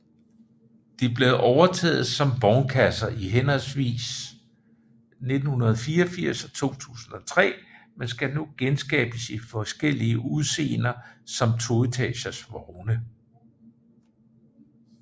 De blev overtaget som vognkasser i henholdsvis 1984 og 2003 men skal nu genskabes i forskellige udseender som toetages vogne